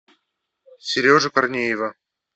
сережу корнеева